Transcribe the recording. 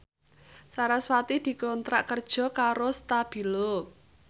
sarasvati dikontrak kerja karo Stabilo